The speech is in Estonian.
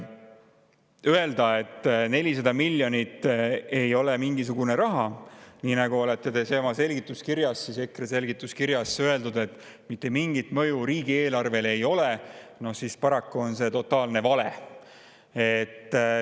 ] Öelda, et 400 miljonit ei ole mingisugune raha, nii nagu EKRE on oma seletuskirjas öelnud, et mitte mingit mõju riigieelarvele ei ole – no paraku on see totaalne vale.